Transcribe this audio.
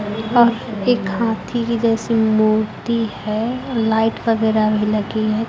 वह एक हाथी की जैसी मूर्ति है लाइट वगैरह भी लगी है।